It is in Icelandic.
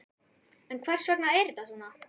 En hvers vegna er þetta svona?